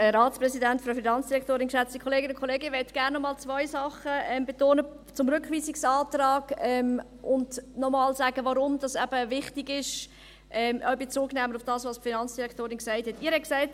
Ich möchte zum Rückweisungsantrag gerne noch einmal zwei Dinge betonen, sagen, warum es eben wichtig ist, und auch Bezug nehmen auf das, was die Finanzdirektorin gesagt hat.